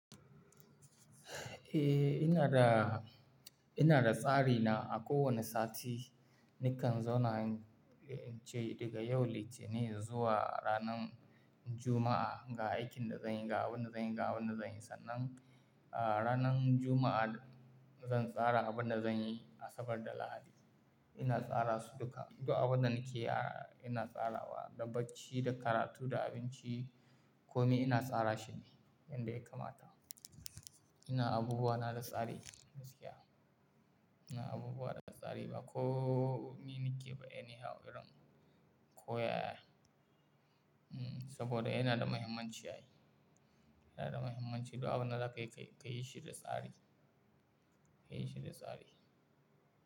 Eh, ina da, ina da tsari na a kowane sati. Nikan zona ce daga yau Litinin zuwa ranan Juma'a ga aikin da zanyi, ga abunda zanyi, ga abunda zanyi. Sannan, a ranan Juma'a zan tsara abunda zanyi Asabar da Lahadi. Ina tsara su duka. Du'a wadanda nake, ina tsara wa da bacci, da karatu, da abinci. Komi ina tsara shi ne yanda ya kamata. Ina abubuwa na da tsari gaskiya. Ina abubuwa da tsari. Ba komi nike ba yanayin haɗuran. Ko ya a. Hmm. Saboda ina da mahimmanci ai. Ina da mahimmanci. Du'a wadanda ka yi ka yi shi da tsari. Ka yi shi da tsari.